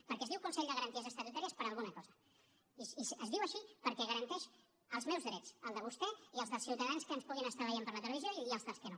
perquè es diu consell de garanties estatutàries per alguna cosa i es diu així perquè garanteix els meus drets els de vostè i els dels ciutadans que ens puguin estar veient per la televisió i els dels que no